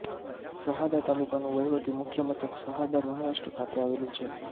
શહાદા તાલુકાનું વહીવટી મુખ્ય મથક શહાદા મહારાષ્ટ્ર ખાતે આવેલું છે